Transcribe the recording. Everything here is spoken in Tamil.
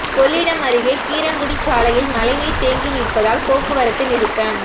கொள்ளிடம் அருகே கீரங்குடி சாலையில் மழைநீர் தேங்கி நிற்பதால் போக்குவரத்து நிறுத்தம்